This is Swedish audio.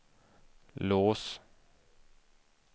lås